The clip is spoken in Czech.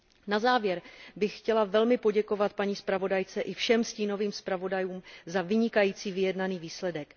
Na závěr bych chtěla velmi poděkovat paní zpravodajce i všem stínovým zpravodajům za vynikající vyjednaný výsledek.